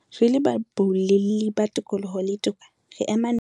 Re le baboulelli ba tokoloho le toka, re ema nokeng